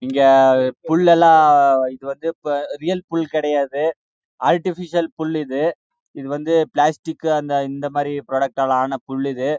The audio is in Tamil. இது வந்து ரோயல் போல கெடையாது ஆர்ட்டிபிசியால் புல் பிளாஸ்டிக் மாரி ஆனா புல் இது